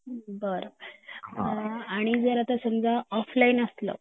बरं आणि जर आता समजा ऑफलाइन असला